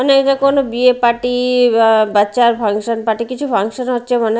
মনে হয় এটা কোনও বিয়ে পার্টি বা বাচ্চার ফাংশন পার্টি কিছু ফাংশন হচ্ছে মনে --